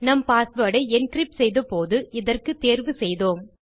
நம் பாஸ்வேர்ட் ஐ என்கிரிப்ட் செய்த போது இதற்கு தேர்வு செய்தோம்